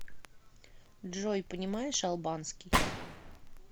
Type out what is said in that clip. джой понимаешь албанский